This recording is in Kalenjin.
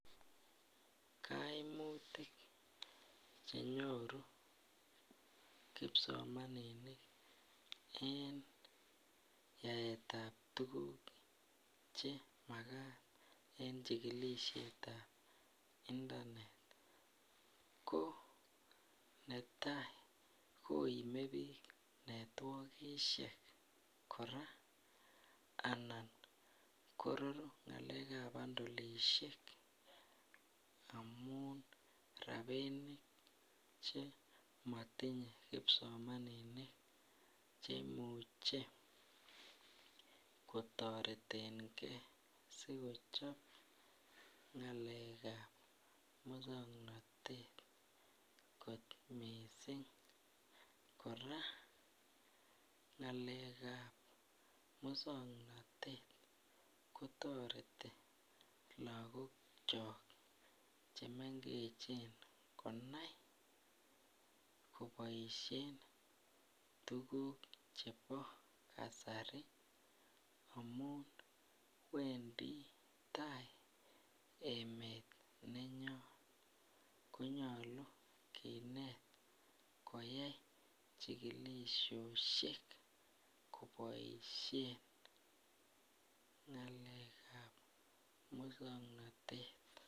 Kaimutik Che nyoru kipsomaninik en yaetab tuguk Che Magat en chigilisiet ab intanet ko netai koime bik netwokisiek kora anan kororu ngalekab bandolisiek amun rabinik Che motinye kipsomaninik Che muche kotoreten ge asi kochob ngalekab moswoknatet kot mising kora ngalekab moswoknatet kotoreti lagokyok Che mengechen konai koboisien tuguk chebo kasari amun wendi tai emet nenyon ko nyolu kinet koyai chigilisiosiek koboisien ngalekab ab moswoknatet